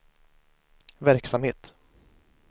verksamhet